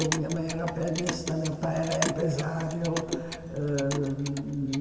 Minha mãe era pianista, meu pai era empresário. Ãh